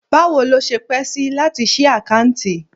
Bawo lo se pe si lati si akanti?